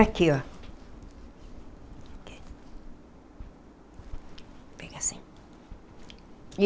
Aqui, ó. Pega assim.